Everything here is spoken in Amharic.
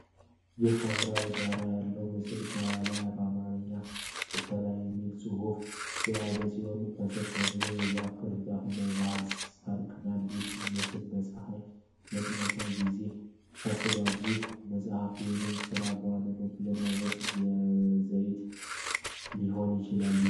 ይህ የሐምራዊ ዳራ ያለው ምስል፣ ከላይ በአማርኛ "ቅበላ"የሚል ጽሑፍ የያዘ ሲሆን፣ ከሥር ደግሞ የዛፍ ቅርንጫፎች እና ባህላዊ የሳር ክዳን ቤት ምስል በፀሐይ መጥለቂያ ጊዜ ተሥሏል። ይህ መጽሐፍ ወይም ሥራ በዋናነት ምን ዓይነት ይዘት ሊኖረው ይችላል?